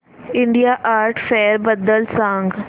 India art fair बद्दल सांग